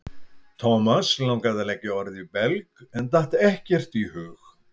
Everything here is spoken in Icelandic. Thomas langaði að leggja orð í belg en datt ekkert í hug.